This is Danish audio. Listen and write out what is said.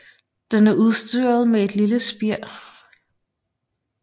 Den er udstyrret med et lille spir